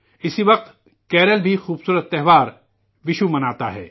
اسی وقت کیرالہ بھی خوبصورت تہوار وشو مناتا ہے